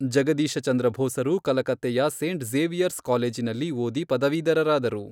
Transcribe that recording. ಜಗದೀಶಚಂದ್ರ ಬೋಸರು ಕಲಕತ್ತೆಯ saint Xavier's ಕಾಲೇಜಿನಲ್ಲಿ ಓದಿ ಪದವೀಧರರಾದರು.